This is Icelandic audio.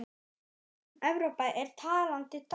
Evrópa er talandi dæmi.